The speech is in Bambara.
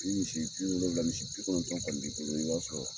Ni misi biwolowula misi bikɔnɔntɔn koni b'i bolo i bi wari sɔrɔ